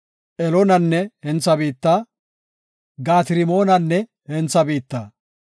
Eloonanne hentha biitta, Gaat-Rimoonanne hentha biitta.